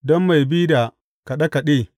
Don mai bi da kaɗe kaɗe.